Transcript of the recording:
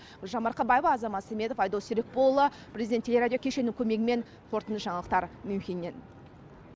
гүлжан марқабаева азамат сәметов айдос серікболұлы президент телерадио кешеннің көмегімен қорытынды жаңалықтар мюнхеннен